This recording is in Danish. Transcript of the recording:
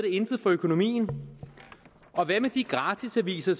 intet for økonomien og hvad med de gratisaviser